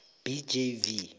b j v